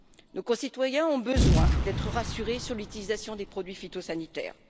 Nos concitoyens ont besoin d'être rassurés sur l'utilisation des produits phytosanitaires.